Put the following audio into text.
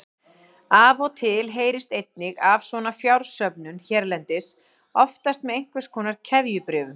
Af og til heyrist einnig af svona fjársöfnun hérlendis, oftast með einhvers konar keðjubréfum.